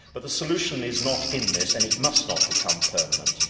But the solution is not in this and it must not become permanent.